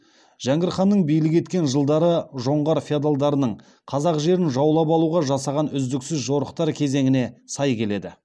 жәңгір ханның билік еткен жылдары жоңғар феодалдарының қазақ жерін жаулап алуға жасаған үздіксіз жорықтар кезеңіне сай келеді